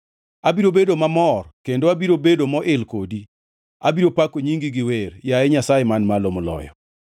Abiro bedo mamor kendo abiro bedo moil kodi; abiro pako nyingi gi wer, yaye Nyasaye Man Malo Moloyo.